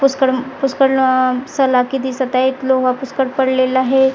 पुष्कडम पुष्कडन सलाखे दिसतं आहे. लोह पुष्कळ पडलेला आहे.